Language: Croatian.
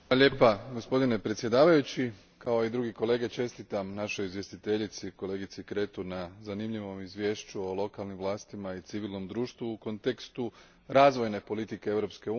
Gospodine predsjedavajući, kao i drugi kolege čestitam našoj izvjestiteljici, kolegici Creţu, na zanimljivom izvješću o lokalnim vlastima i civilnom društvu u kontekstu razvojne politike Europske unije.